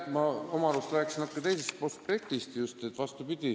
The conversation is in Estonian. Ma oma arust rääkisin natuke teisest aspektist.